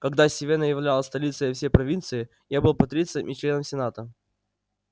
когда сивенна являлась столицей всей провинции я был патрицием и членом сената